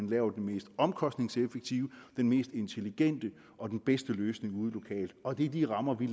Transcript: lave den mest omkostningseffektive den mest intelligente og den bedste løsning lokalt og det er de rammer vi